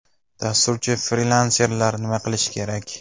Dasturchi-frilanserlar nima qilishi kerak?